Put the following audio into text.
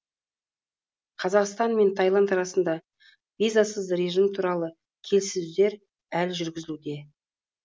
қазақстан мен тайланд арасында визасыз режим туралы келіссөздер әлі жүргізілуде